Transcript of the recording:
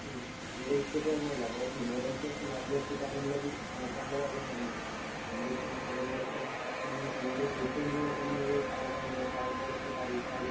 ഉം അല്ലേ അപ്പൊ നിന്നോടെനിക്ക് എന്താ പൊറം ലോകത്തേക്കറിയിച്ചാല്